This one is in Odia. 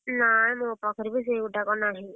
ନାଇ ମୋ ପାଖରେ ବି ସେଇ ଗୋଟାକ ନାହିଁ।